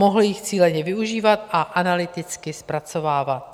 Mohl je cíleně využívat a analyticky zpracovávat.